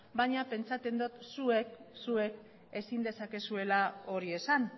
baina pentsatzen dut zuek ezin dezakezuela hori esan